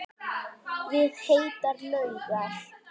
Við heitar laugar